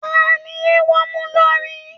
Ta ni eéwo mú lórí?